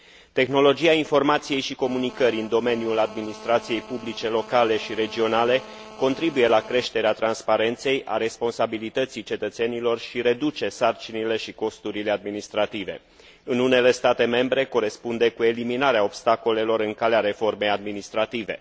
Tehnologia informației și comunicării în domeniul administrației publice locale și regionale contribuie la creșterea transparenței, a responsabilității cetățenilor și reduce sarcinile și costurile administrative. În unele state membre corespunde cu eliminarea obstacolelor în calea reformei administrative.